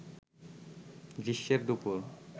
গ্রীষ্মের দুপুর